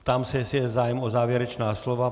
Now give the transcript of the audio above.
Ptám se, jestli je zájem o závěrečná slova.